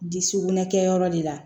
Dugumɛnɛ kɛ yɔrɔ de la